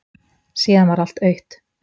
Síðan varð allt autt.